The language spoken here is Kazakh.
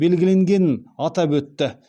белгіленгенін атап өтті